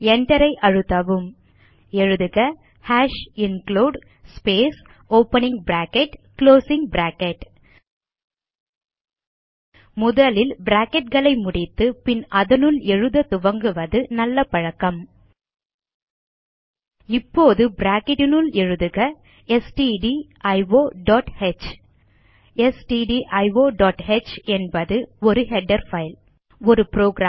Enterஐ அழுத்தவும் எழுதுக hash include space opening bracket closing bracket முதலில் bracketகளை முடித்து பின் அதனுள் எழுத துவங்குவது நல்ல பழக்கம் இப்போது பிராக்கெட் னுள் எழுதுகstdio டாட் ஹ் stdioஹ் என்பது ஒரு ஹெடர் பைல் ஒரு புரோகிராம்